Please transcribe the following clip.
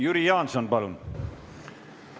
Jüri Jaanson, palun!